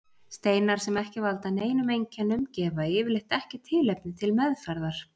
Steinar sem ekki valda neinum einkennum gefa yfirleitt ekki tilefni til meðferðar.